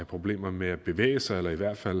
problemer med at bevæge sig eller i hvert fald